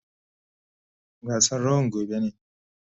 Gasan rawan gobe ne.